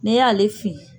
N'e y'ale fili